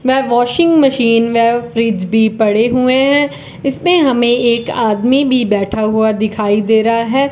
वे washing machine व fridge भी पड़े हुए हैं इसमें हमे एक आदमी भी बैठा हुआ दिखाई दे रहा है।